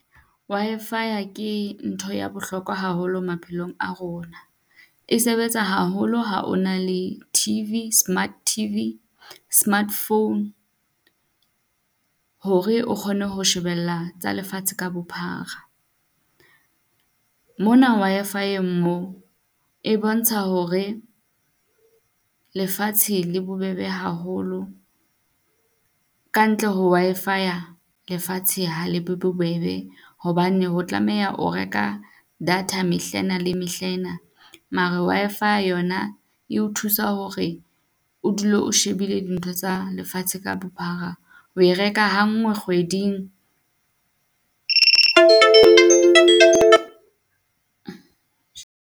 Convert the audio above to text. Wi-Fi-ya ke ntho ya bohlokwa haholo maphelong a rona. E sebetsa haholo ha o na le T_V, smart T_V, smart phone hore o kgone ho shebella tsa lefatshe ka bophara. Mona Wi-Fi-eng moo e bontsha hore lefatshe le bobebe haholo. Ka ntle ho Wi-Fi-ya lefatshe ha le be bobebe hobane ho tlameha o reka data mehla ena le mehla ena. Mara wa fa yona e o thusa hore o dule o shebile dintho tsa lefatshe ka bophara. O e reka ha nngwe kgweding.